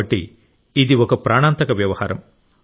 కాబట్టి ఇది ఒక ప్రాణాంతక వ్యవహారం